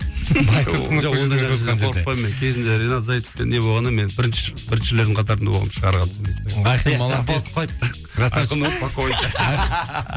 кезінде ринат заитовпен не болғанда мен бірінші біріншілердің қатарында болғанмын шығарғам инстаграмға